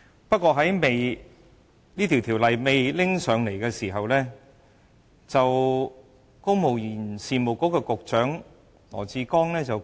不過，在《條例草案》提交立法會前，公務員事務局局長羅智光說